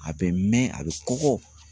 A bɛ mɛn,a bɛ kɔgɔ.